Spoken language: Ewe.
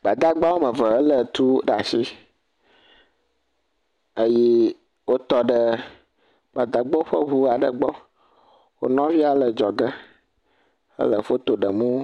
Gbadagba woame ve elé ti ɖaa shi eye wotɔ ɖe Gbadagbawo ƒe ŋu aɖe gbɔ. Wo nɔvia le adzɔge ele foto ɖem wo.